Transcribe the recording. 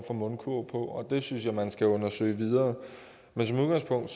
for mundkurv på og det synes jeg man skal undersøge videre men som udgangspunkt